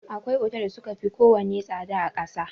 Akwai otal da suka fi ko wane tsada a ƙasa.